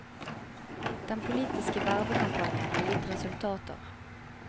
Den politiske vervekampanjen har gitt resultater.